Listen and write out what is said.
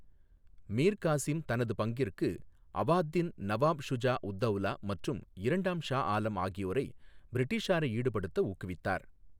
மிர் காசிம் தனது பங்கிற்கு அவாத்தின் நவாப் ஷுஜா உத் தௌலா மற்றும் இரண்டாம் ஷா ஆலம் ஆகியோரை பிரிட்டிஷாரை ஈடுபடுத்த ஊக்குவித்தார்.